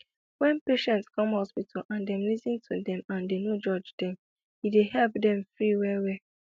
wen patient come hospital and dem lis ten to dem and dem no judge dem e dey help dem free well well